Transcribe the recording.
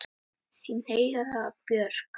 Þín Heiða Björg.